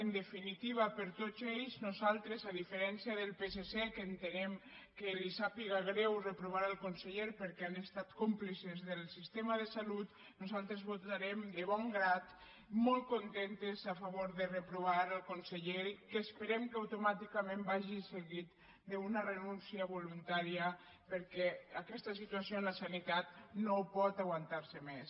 en definitiva per tots ells nosaltres a diferència del psc que entenem que li sàpiga greu reprovar el conseller perquè han estat còmplices del sistema de salut votarem de bon grat molt contentes a favor de reprovar el conseller que esperem que automàticament vagi seguit d’una renúncia voluntària perquè aquesta situació en la sanitat no pot aguantar se més